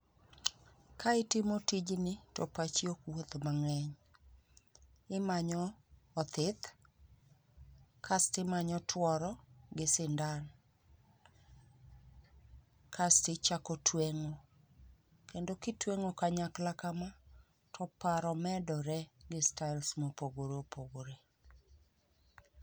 Ka itimo tijni to pachi ok wuoth mang'eny. Imanyo othith kas timanyo tuoro gi sindan, kas tichako tueng'o. Kendo kitweng'o kanyakla kama, toparo medore gi styles mopogore opogore.